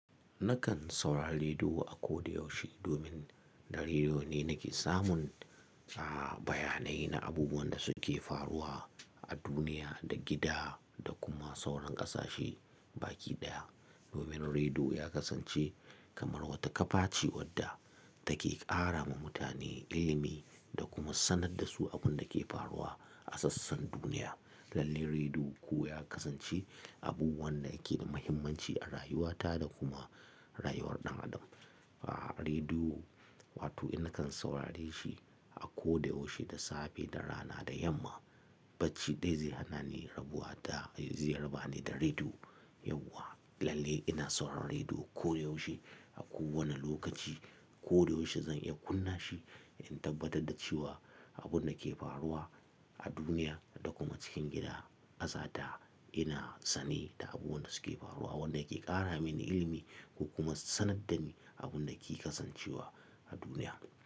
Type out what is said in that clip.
Nakan saurari rediyo akoda yaushe domin da rediyo ne nake samun, ah, bayanai na abubuwan da suke faruwa a duniya da gida da kuma sauran ƙasashe baki ɗaya. Domin rediyo ya kasance kamar wata kafa ce wadda take ƙara ma mutane ilimi da kuma sanarda su abunda ke faruwa a sassan duniya. Lallai rediyo kuwa ya kasance abu wanda yake da muhimmanci a rayuwata da kuma rayuwar ɗan adam. Ah, rediyo, wato ina kan saurare shi akoda yaushe, da safe, da rana, da yamma. Bacci dai zai hana ni rabuwa da, zai rabani da rediyo yauwa. Lallai ina sauraren rediyo koda yaushe, a kowane lokaci. Koda yaushe zan iya kunna shi in tabbatar da cewa abunda ke faruwa a duniya da kuma cikin gida, ƙasata ina sane da abubuwanda suke faruwa, wanda yake ƙara mini ilimi kuma sanarda ni abunda ke kasancewa a duniya.